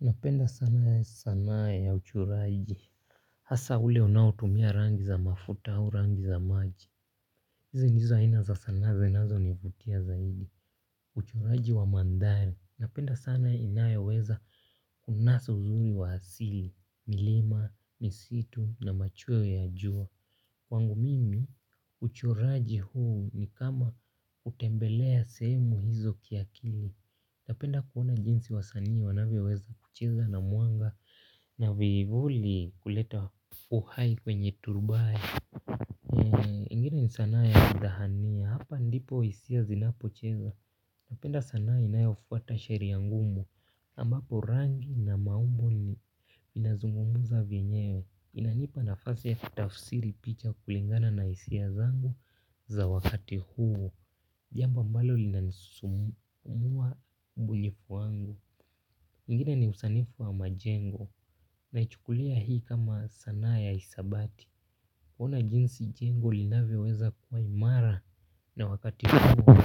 Napenda sana sanaa ya uchoraji, hasa ule unaotumia rangi za mafuta au rangi za maji. Hizi ndizo aina za sanaa zinazonivutia zaidi. Uchoraji wa mandhari napenda sana inayeweza kunasa uzuri wa asili. Milima, misitu na machweo ya jua kwangu mimi uchuraji huu, ni kama kutembelea sehemu hizo kiakili. Napenda kuona jinsi wasanii wanavyoweza kucheza na mwanga na vivuli kuleta uhai kwenye turbae, ingine ni sanaa ya kudhahania hapa ndipo hisia zinapocheza. Napenda sanaa inayofuata sheria ngumu ambapo rangi na maumbo inazungumuza vyenyewe. Inanipa na fasi ya tafsiri picha kulingana na hisia zangu za wakati huu. Jambo ambalo linasumbua ubunifu wangu. Ingine ni usanifu wa majengo. Naichukulia hii kama sanaa ya hisabati. Kuona jinsi jengo linavyoweza kuwa imara. Na wakati huo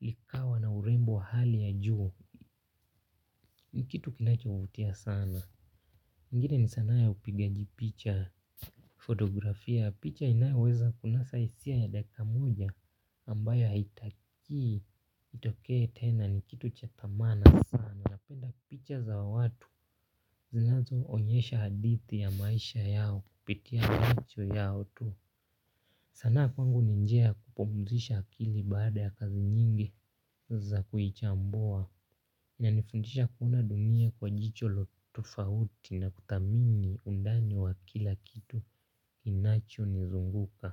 likawa na urembo hali ya juu. Nikitu kinachovutia sana. Ingine ni sanaa ya upigaji picha Fotografia picha inayaweza kunasa hisia ya dakika moja ambayo haitakii itokee tena ni kitu cha dhamana sana napenda picha za watu. Zinazo onyesha hadithi ya maisha yao kupitia macho yao tu. Sanaa kwangu ni njia ya kupumuzisha akili baada ya kazi nyingi za kuichambua inanifundisha kuona dunia kwa jicho tofauti na kuthamini undani wa kila kitu. Inacho nizunguka.